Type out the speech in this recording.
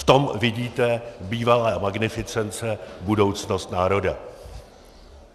V tom vidíte, bývalé magnificence, budoucnost národa.